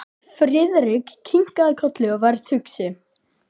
Friðrik kinkaði kolli og varð hugsi.